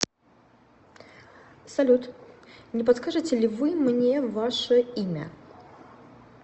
салют не подскажете ли вы мне ваше имя